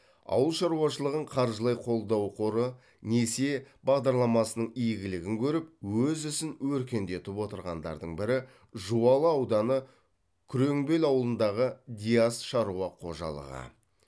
ауыл шаруашылығын қаржылай қолдау қоры несие бағдарламасының игілігін көріп өз ісін өркендетіп отырғандардың бірі жуалы ауданы күреңбел ауылындағы диас шаруа қожалығы